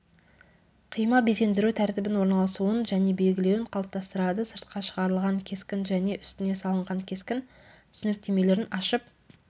қима безендіру тәртібін орналасуын және белгілеуін қалыптастырады сыртқа шығарылған кескін және үстіне салынған кескін түсініктемелерін ашып